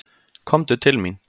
Komdu til mín.